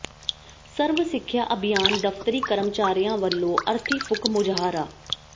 ਸਰਵ ਸਿੱਖਿਆ ਅਭਿਆਨ ਦਫਤਰੀ ਕਰਮਚਾਰੀਆਂ ਵੱਲੋਂ ਅਰਥੀ ਫੂਕ ਮੁਜ਼ਾਹਰਾ